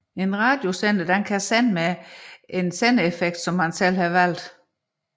En radiosender kan sende med en valgt sendeeffekt